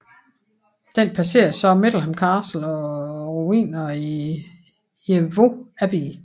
Den passerer så Middleham Castle og ruinene af Jervaulx Abbey